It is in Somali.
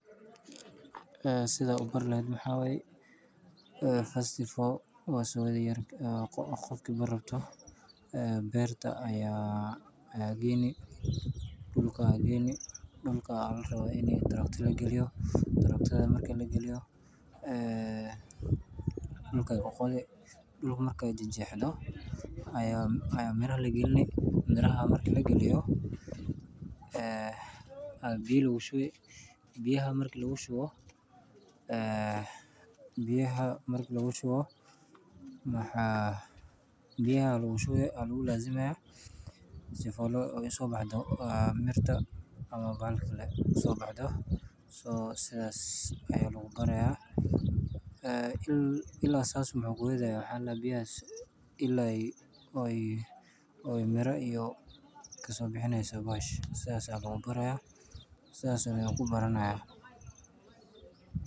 Eeh Sidaa u barta lahayd maxaa way first of all waan soo yeedhi yar ayaan qoqko qofki baari raabto, beer ta aya aa geyni dhulka aay geyni dhulka aad larabo inay tractor la geliyo, tractor markii la geliyo, ayeen dhulkay ka qode. Dhulka markay jijiyee xido. Ayaan ayaan mirah la gelno miraha markii la geliyo. ee aad biyuu la shuubi eey biyuhu markii la shuubi oh een biyuhu markii la shuubo maxaa biyuhu la wuxuu eey aad wuu la zimee ah si fuul loo isoo baxdo mirta ama baal kale soo baxdo soo sidaas ayeelu ku baraya ila saas an maxuu kuweyda aya xaal la biyaa ilaa ayy oo ayy oo ay mira iyo kasa bixanayso baash saacada ula baraya saacan aya ku baranaa.